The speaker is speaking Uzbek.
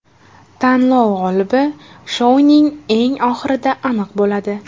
Tanlov g‘olibi shouning eng oxirida aniq bo‘ladi.